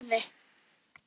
Örn leit á Gerði.